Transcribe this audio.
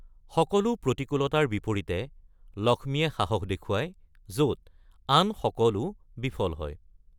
সকলো প্ৰতিকূলতাৰ বিপৰীতে, লক্ষ্মীয়ে সাহস দেখুৱায় য'ত আন সকলো বিফল হয়।